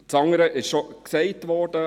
Das andere ist bereits erwähnt worden.